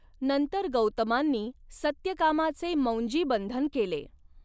नंतर गौतमांनी सत्यकामाचे मौंजीबंधन केले.